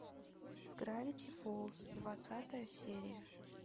гравити фолз двадцатая серия